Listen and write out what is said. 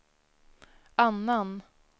annan